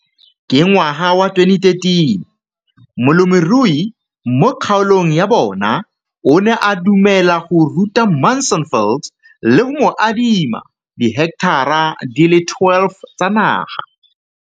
Ka ngwaga wa 2013, molemirui mo kgaolong ya bona o ne a dumela go ruta Mansfield le go mo adima di heketara di le 12 tsa naga.